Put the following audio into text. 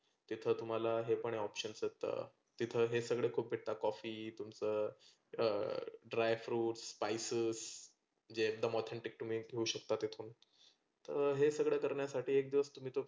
तीथे तुम्हाला हे पण options आहेत. तिथं हे सगळ खुप भेटता coffee तुमच अं dry fruits, spices जे एकदम authentic ते तुम्ही घेऊ शकता तीथून. तर हे सगळ करण्यासाठी एक दिवस तुम्ही तो